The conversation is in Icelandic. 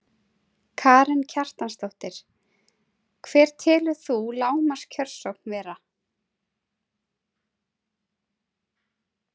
Karen Kjartansdóttir: Hver telur þú lágmarks kjörsókn vera?